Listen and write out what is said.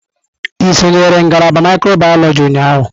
Ị sonyere ngalaba mikrobiyọlojị ụnyahụ?